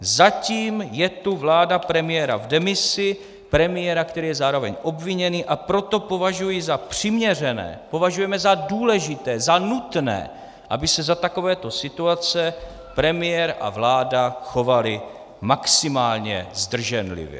Zatím je tu vláda premiéra v demisi, premiéra, který je zároveň obviněný, a proto považuji za přiměřené, považujeme za důležité, za nutné, aby se za takovéto situace premiér a vláda chovali maximálně zdrženlivě.